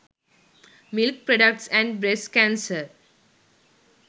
milk products and breast cancer